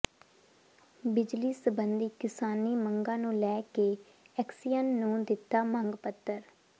ਬਿਜਲੀ ਸੰਬੰਧੀ ਕਿਸਾਨੀ ਮੰਗਾਂ ਨੂੰ ਲੈ ਕੇ ਐਕਸੀਅਨ ਨੂੰ ਦਿੱਤਾ ਮੰਗ ਪੱਤਰ